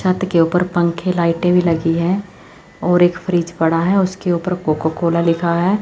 छत के ऊपर पंखे लाइटें भी लगी हैं और एक फ्रिज पड़ा है उसके ऊपर कोका कोला लिखा है।